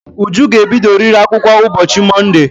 Uju ga-ebidoriri akwụkwọ ụbọchị Monde!